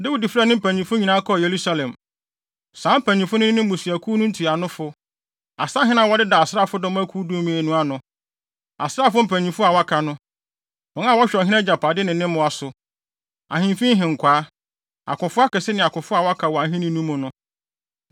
Dawid frɛɛ ne mpanyimfo nyinaa kɔɔ Yerusalem. Saa mpanyimfo no ne mmusuakuw no ntuanofo, asahene a wɔdeda asraafodɔm akuw dumien no ano, asraafo mpanyimfo a wɔaka no, wɔn a wɔhwɛ ɔhene agyapade ne ne mmoa so, ahemfi nhenkwaa, akofo akɛse ne akofo a wɔaka wɔ ahenni no mu no.